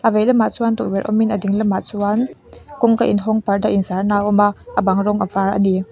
a vei lamah chuan tukverh awmin a ding lamah chuan kawngka in hawng parda inzarna a awma a bang rawng a var ani.